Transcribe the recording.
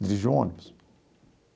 dirigir um ônibus.